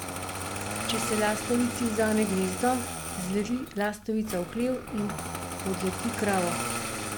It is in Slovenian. Če se lastovici vzame gnezdo, zleti lastovica v hlev in podleti kravo.